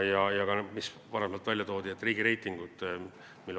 Ka varem toodi siin välja riigireitinguid.